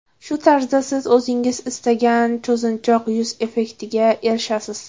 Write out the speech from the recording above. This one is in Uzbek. Shu tarzda siz o‘zingiz istagan cho‘zinchoq yuz effektiga erishasiz.